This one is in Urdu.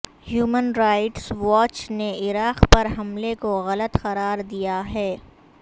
ہیومن رائٹس واچ نے عراق پر حملے کو غلط قرار دیا ہے